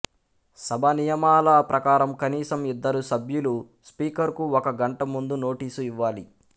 సభ నియమాల ప్రకారం కనీసం ఇద్దరు సభ్యులు స్పీకర్ కు ఒక గంట ముందు నోటీసు ఇవ్వాలి